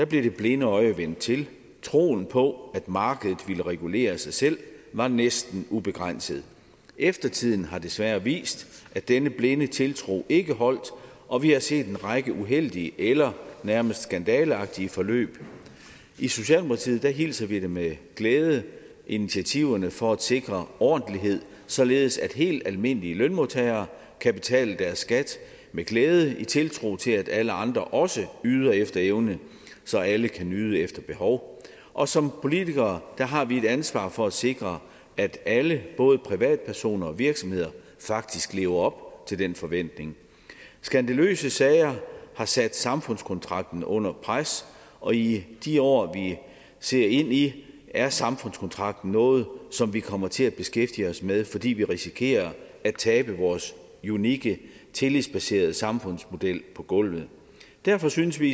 blev det blinde øje vendt til troen på at markedet ville regulere sig selv var næsten ubegrænset eftertiden har desværre vist at denne blinde tiltro ikke holdt og vi har set en række uheldige eller nærmest skandaleagtige forløb i socialdemokratiet hilser vi med glæde initiativerne for at sikre ordentlighed således at helt almindelige lønmodtagere kan betale deres skat med glæde i tiltro til at alle andre også yder efter evne så alle kan nyde efter behov og som politikere har vi et ansvar for at sikre at alle både privatpersoner og virksomheder faktisk lever op til den forventning skandaløse sager har sat samfundskontrakten under pres og i de år vi ser ind i er samfundskontrakten noget som vi kommer til at beskæftige os med fordi vi risikerer at tabe vores unikke tillidsbaserede samfundsmodel på gulvet derfor synes vi